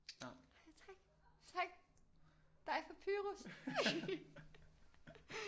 Tak tak dig fra Pyrus